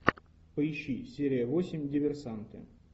поищи серия восемь диверсанты